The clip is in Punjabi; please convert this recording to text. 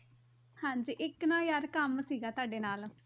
ਹਾਂਜੀ ਇੱਕ ਨਾ ਯਾਰ ਕੰਮ ਸੀਗਾ ਤੁਹਾਡੇ ਨਾਲ,